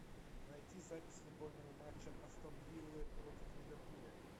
найти запись футбольного матча астон виллы против ливерпуля